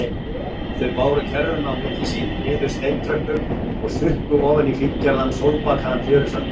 Þau báru kerruna á milli sín niður steintröppur og sukku ofan í fíngerðan, sólbakaðan fjörusandinn.